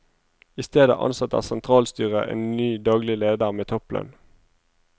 I stedet ansetter sentralstyret en ny daglig leder med topplønn.